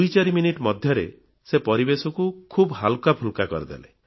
ଦୁଇ ଚାରି ମିନିଟ୍ ମଧ୍ୟରେ ସେ ପରିବେଶକୁ ଖୁବ୍ ହାଲ୍କାଫୁଲ୍କା କରିଦେଲେ